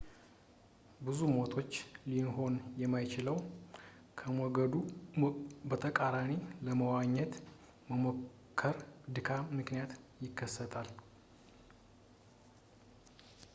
ብዙ ሞቶች ሊሆን በማይችለው ከሞገዱ በተቃራኒ ለመዋኘት በመሞከር ድካም ምክንያት ይከሰታሉ